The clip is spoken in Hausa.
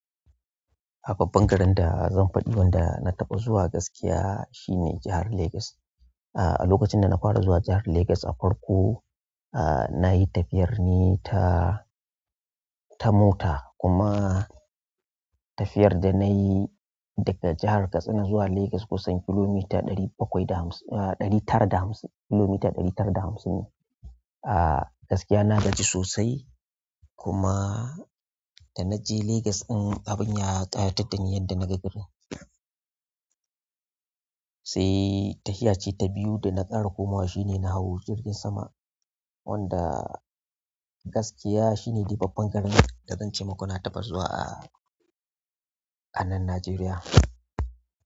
A babban garin da zan faɗi wanda na taɓa zuwa gaskiya shine jahar Lagos. A lokacin da na fara zuwa jahar Lagos a farko, a na yi tafiyar ne ta, ta mota kuma tafiyar da na yi daga jahar Katsina zuwa Lagos kusan kilomita ɗari bakwai da hamsi, a ɗari tara da hamsi, kilomita ɗari tara da hamsin ne. A gaskiya na gaji sosai kuma da na je Lagos din, abun ya ƙayatar da ni yadda na ga garin. Sai tafiya ce ta biyu da na ƙara komawa shine na hau jirgin sama. Wanda gaskiya shine dai babban garin da zan ce muka na taɓa zuwa a anan Najeriya.